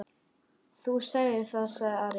Þú sagðir það, sagði Ari.